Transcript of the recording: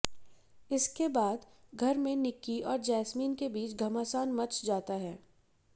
इसके बाद घर में निक्की और जैस्मीन के बीच घमासान मच जाता है